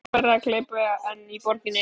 Þar hlaut færra að glepja en í borginni.